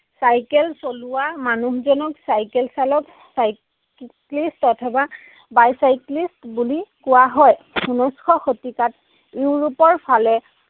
Cycle চলোৱা মানুহজনক cycle চালক, cy clist অথবা bicyclist বুলি কোৱা হয়। ঊনৈশশ শতিকাত ইউৰোপৰ ফালে